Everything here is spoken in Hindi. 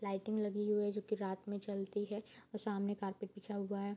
लाइटिंग लगी हुई है जो की रात में चलती है और सामने कारपेट बिछा हुआ है।